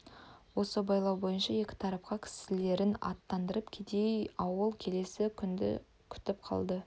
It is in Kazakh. осы байлау бойынша екі тарапқа кісілерін аттандырып кедей ауыл келесі күнді күтіп қалды